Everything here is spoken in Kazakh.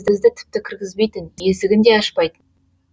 бізді тіпті кіргізбейтін есігін де ашпайтын